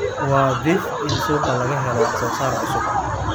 Waa dhif in suuqa laga helo wax soo saar cusub.